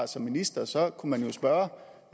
som minister så kunne man jo spørge